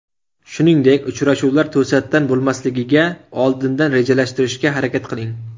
Shuningdek, uchrashuvlar to‘satdan bo‘lmasligiga oldindan rejalashtirishga harakat qiling.